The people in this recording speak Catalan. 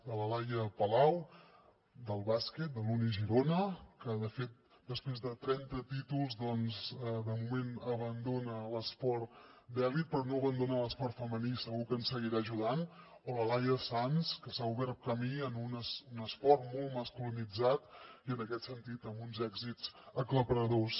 de la laia palau del bàsquet de l’uni girona que de fet després de trenta títols de moment abandona l’esport d’elit però no abandona l’esport femení i segur que ens seguirà ajudant o de la laia sanz que s’ha obert camí en un esport molt masculinitzat i en aquest sentit amb uns èxits aclaparadors